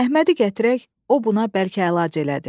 Əhmədi gətirək, o buna bəlkə əlac elədi.